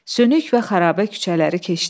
Sönük və xarabə küçələri keçdi.